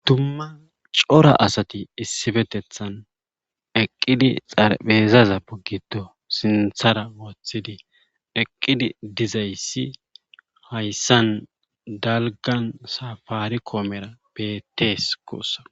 dumma cora asati issipetettan eqqidi xarphezaza giddo sinthara wothidi eqqidi dizayssi hayssan dalggan safaricomera beettes guusako.